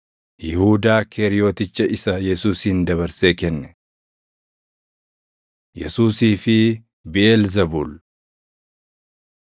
Yihuudaa Keeriyoticha isa Yesuusin dabarsee kenne. Yesuusii fi Biʼeelzebuul 3:23‑27 kwf – Mat 12:25‑29; Luq 11:17‑22